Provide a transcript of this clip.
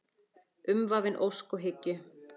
Umvafin ósk og hyggju.